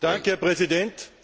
Herr Präsident!